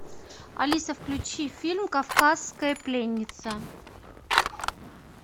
алиса включи фильм кавказская пленница